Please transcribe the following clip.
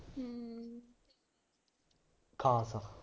ਖਾਸ